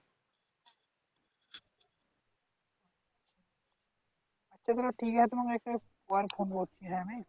আচ্ছা ঠিক আছে আমি একটু পরে ফোন করছি